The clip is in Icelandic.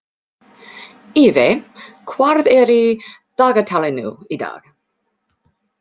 Evey, hvað er í dagatalinu í dag?